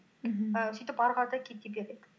мхм і сөйтіп ары қарата кете береді